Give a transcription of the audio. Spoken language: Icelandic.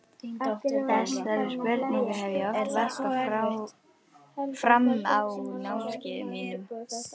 Þessari spurningu hef ég oft varpað fram á námskeiðunum mínum.